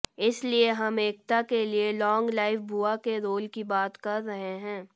इसलिए हम एकता के लिए लॉन्ग लाइफ बुआ के रोल की बात कर रहे हैं